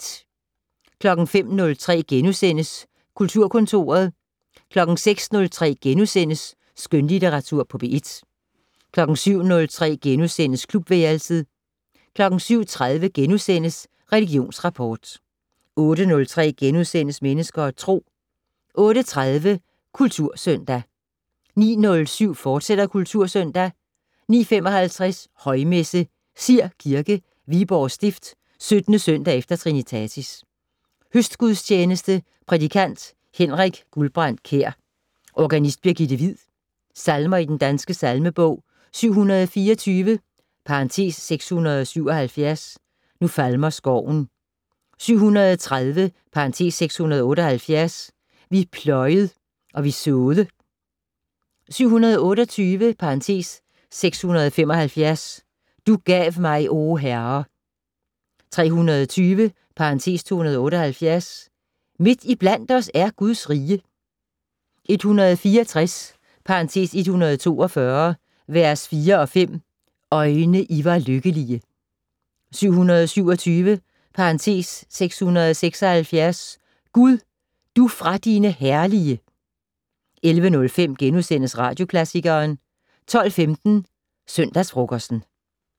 05:03: Kulturkontoret * 06:03: Skønlitteratur på P1 * 07:03: Klubværelset * 07:30: Religionsrapport * 08:03: Mennesker og Tro * 08:30: Kultursøndag 09:07: Kultursøndag, fortsat 09:55: Højmesse - Sir Kirke, Viborg Stift. 17. søndag efter trinitatis. Høstgudstjeneste. Prædikant: Henrik Guldbrandt Kjær. Organist: Birgitte Hviid. Salmer i Den Danske Salmebog: 724 (677) "Nu falmer skoven". 730 (678) "Vi pløjed og vi så'de". 728 (675) "Du gav mig, o Herre". 320 (278) "Midt iblandt os er Guds rige". 164 (142) v. 4 og 5 "Øjne, I var lykkelige". 727 (676) "Gud, du fra dine herlige". 11:05: Radioklassikeren * 12:15: Søndagsfrokosten